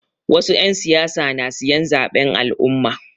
Wasu 'yan siyasa na siyan zaɓen al'umma.